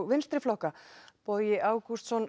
vinstri flokka Bogi Ágústsson